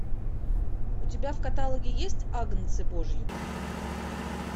у тебя в каталоге есть агнцы божьи